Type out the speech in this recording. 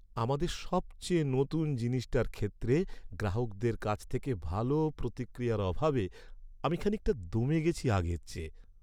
আমাদের সবচেয়ে নতুন জিনিসটার ক্ষেত্রে গ্রাহকদের কাছ থেকে ভালো প্রতিক্রিয়ার অভাবে আমি খানিকটা দমে গেছি আগের চেয়ে।